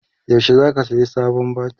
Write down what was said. yaushe zaka saya sabon batir?